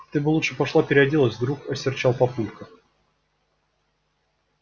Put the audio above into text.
ты бы лучше пошла переоделась вдруг осерчал папулька